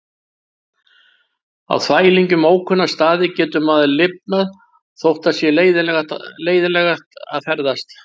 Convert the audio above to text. Á þvælingi um ókunna staði getur maður lifnað þótt það sé leiðinlegt að ferðast.